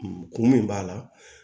Kun min b'a la